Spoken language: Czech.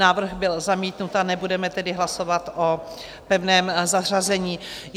Návrh byl zamítnut, a nebudeme tedy hlasovat o pevném zařazení.